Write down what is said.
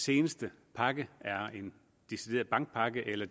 seneste pakke er en decideret bankpakke eller